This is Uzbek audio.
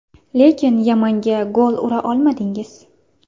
Lekin Yamanga gol ura olmadingiz.